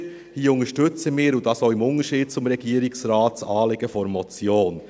Hier unterstützen wir, und dies auch im Unterschied zum Regierungsrat, das Anliegen der Motion.